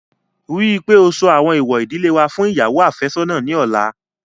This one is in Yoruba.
Rí i pé ó sọ àwọn èèwọ̀ ìdílé wa fún ìyàwó àfẹ́sọ́nà ní ọ̀la